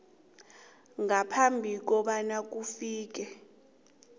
ngaphambi kobana kufike